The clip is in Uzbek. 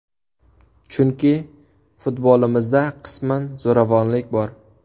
Chunki futbolimizda qisman zo‘ravonlik bor.